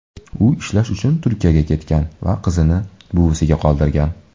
U ishlash uchun Turkiyaga ketgan va qizini buvisiga qoldirgan.